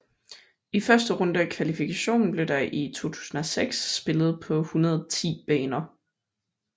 I første runde af kvalifikationen blev der i 2006 spillet på 110 baner